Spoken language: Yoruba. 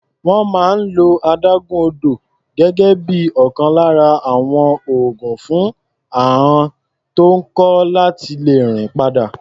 Wọ́n máa ń lo adágún odò gẹ́gẹ́ bí ọ̀kan lára àwọn oògùn fún àọn tó ń kọ́ láti lè rìn padà.